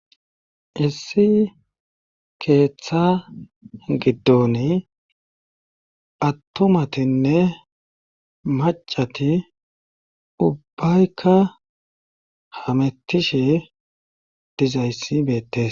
issi keeththa giddon attomatinne macati ubbaykka hamettishe dizayssi beettes